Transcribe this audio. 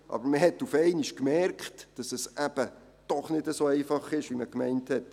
Aber man hat auf einmal gemerkt, dass es eben doch nicht so einfach ist, wie man gemeint hat.